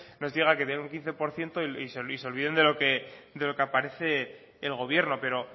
diga que tienen un quince por ciento y se olviden de lo que aparece el gobierno pero